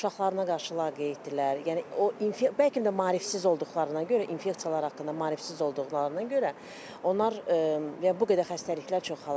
Uşaqlarına qarşı laqeyddirlər, yəni o bəlkə də maarifsiz olduqlarına görə infeksiyalar haqqında maarifsiz olduqlarına görə onlar və bu qədər xəstəliklər çoxalır.